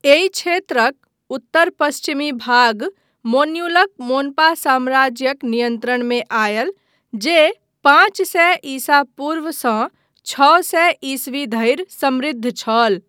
एहि क्षेत्रक उत्तर पश्चिमी भाग मोन्यूलक मोन्पा साम्राज्यक नियन्त्रणमे आयल, जे पाँच सए ईसा पूर्वसँ छओ सए ईस्वी धरि समृद्ध छल।